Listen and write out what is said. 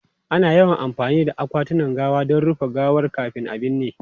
Ana yawan amfani da akwatunan gawa don rufe gawar kafin a binne.